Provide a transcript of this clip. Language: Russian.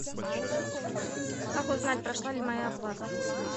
как узнать прошла ли моя оплата